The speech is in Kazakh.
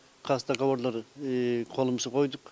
қазір договорлар қолымыз қойдық